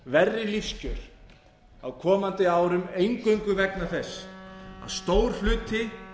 verri lífskjör á komandi árum eingöngu vegna þess að stór hluti